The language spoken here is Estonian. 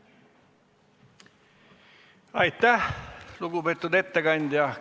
Aitäh, lugupeetud ettekandja!